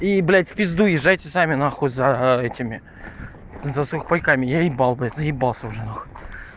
и блядь в пизду езжайте сами нахуй за этими за сухпайками я ебал блядь заебался уже нахуй